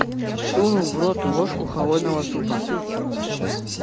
сунул в рот ложку холодного супа